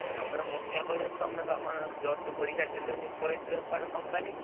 ତମେ ମ ତେ କହୁଛ ତମେବା କଣ plus two ପରୀକ୍ଷା ଦେଲନି ପଳେଇଥିଲ କୁଆଡେ company କି?